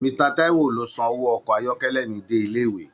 Mr Taiwo ló sàn owó ọkọ ayọkẹlẹ mí dé ilé ìwé.